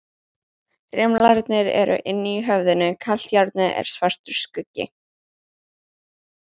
Rimlarnir eru inni í höfðinu, kalt járnið er svartur skuggi.